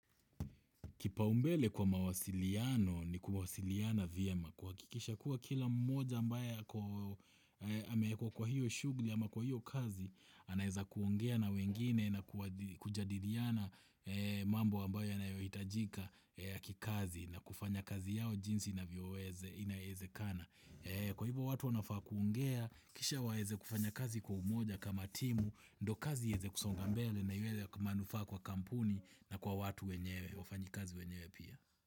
Kipaumbele kwa mawasiliano ni kuwasiliana vyema kuhakikisha kuwa kila mmoja ambaye ameekuwa kwa hiyo shughuli ama kwa hiyo kazi anaeza kuongea na wengine na kujadiliana mambo ambayo yanayohitajika ya kikazi na kufanya kazi yao jinsi inavyoweze inavyoezekana Kwa hivyo watu wanafaa kuongea, kisha waeze kufanya kazi kwa umoja kama timu ndio kazi iweze kusonga mbele na iweze kumanufa kwa kampuni na kwa watu wenyewe wafanyikazi wenyewe pia.